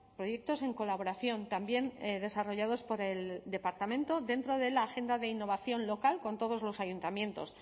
proyectos en colaboración también desarrollados por el departamento dentro de la agenda de innovación local con todos los ayuntamientos